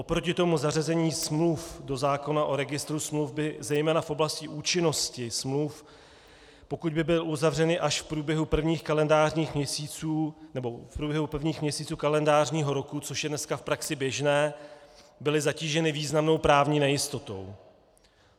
Oproti tomu zařazení smluv do zákona o Registru smluv by zejména v oblasti účinnosti smluv, pokud by byly uzavřeny až v průběhu prvních kalendářních měsíců nebo v průběhu prvních měsíců kalendářního roku, což je dneska v praxi běžné, byly zatíženy významnou právní nejistotou.